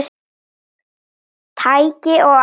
Tæki og áhöld